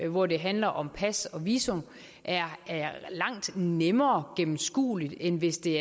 hvor det handler om pas og visum er langt nemmere gennemskuelig end hvis det